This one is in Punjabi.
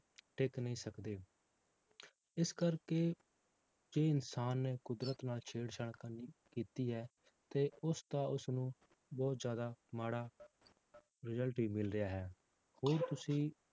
ਟਿਕ ਨਹੀਂ ਸਕਦੇ ਇਸ ਕਰਕੇ ਜੇ ਇਨਸਾਨ ਨੇ ਕੁਦਰਤ ਨਾਲ ਛੇੜ ਛਾੜ ਕਰਨੀ ਕੀਤੀ ਹੈ, ਤੇ ਉਸਦਾ ਉਸਨੂੰ ਬਹੁਤ ਜ਼ਿਆਦਾ ਮਾੜਾ result ਹੀ ਮਿਲ ਰਿਹਾ ਹੈ ਹੋਰ ਤੁਸੀਂ